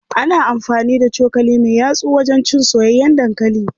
Ana amfani da cokali me yatsu wajen cin soyayyen dankali.